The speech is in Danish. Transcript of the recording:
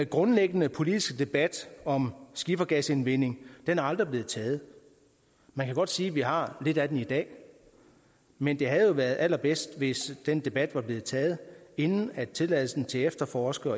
grundlæggende politiske debat om skifergasindvending er aldrig blevet taget man kan godt sige at vi har lidt af den i dag men det havde jo været allerbedst hvis den debat var blevet taget inden tilladelsen til efterforskning